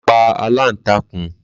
Ma pa Aláǹtakùn